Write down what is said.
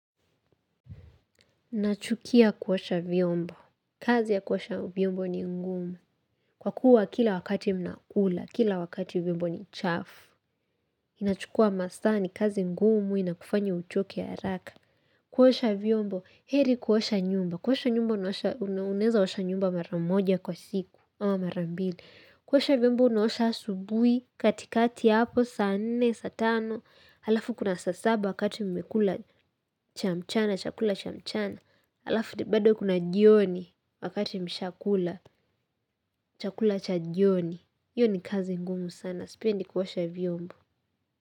Nachukia kuosha vyombo, kazi ya kuosha vyombo ni ngumu. Kwa kuwa kila wakati mnakula, kila wakati vyombo ni chafu. Inachukua masaa ni kazi ngumu inakufanya uchoke haraka. Kuosha vyombo, heri kuosha nyumba. Kuosha nyumba unaosha unaweza osha nyumba mara moja kwa siku ama mara mbili. Kuosha vyombo unaosha asubuhi, katikati hapo, saa nne, saa tano, alafu kuna saa saba wakati mmekula cha mchana, chakula cha mchana, alafu bado kuna jioni wakati mshakula, chakula chajioni, iyo ni kazi ngumu sana, sipendi kuosha vyombo.